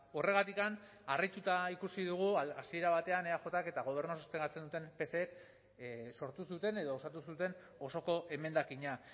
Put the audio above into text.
horregatik harrituta ikusi dugu hasiera batean eajk eta gobernua sostengatzen duten psek sortu zuten edo osatu zuten osoko emendakina